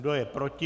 Kdo je proti?